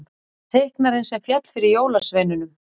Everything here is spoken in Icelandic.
Teiknarinn sem féll fyrir jólasveinunum